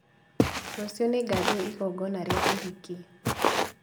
Rũciũ nĩngathiĩ igongona rĩa ũhiki